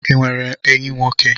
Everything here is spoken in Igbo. Ị nwere enyi nwoke?